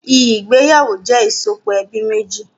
Ìgbéyàwó jẹ ìsopọ̀ ẹbí méjì